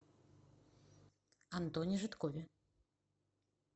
антоне жидкове